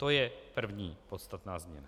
To je první podstatná změna.